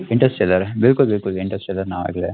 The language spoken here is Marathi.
Interstellar बिलकुल बिलकुल Interstellar नाव ऐकलय